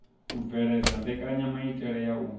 u bveledza mbekenyamaitele ya u